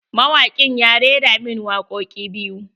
Mawaƙin ya rera min wakoƙi biyu.